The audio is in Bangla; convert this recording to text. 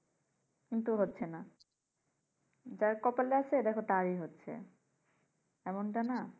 কিন্তু হচ্ছেনা। যার কপালে আছে তারই হচ্ছে এমনটা না?